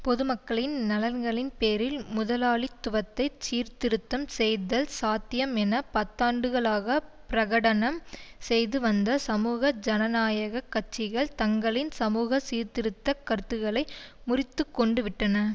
பொதுமக்களின் நலன்களின்பேரில் முதலாளித்துவத்தைச் சீர்திருத்தம் செய்தல் சாத்தியம் என பத்தாண்டுகளாக பிரகடனம் செய்து வந்த சமூக ஜனநாயக கட்சிகள் தங்களின் சமூகசீர்திருத்தக் கருத்துக்களை முறித்து கொண்டுவிட்டன